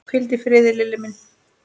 Hvíldu í friði, Lilli minn.